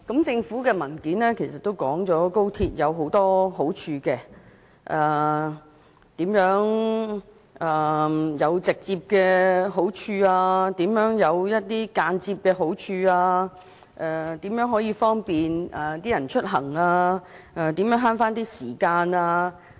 政府提交的文件已說明高鐵有很多好處，有直接也有間接的，包括更方便市民出行和節省時間等。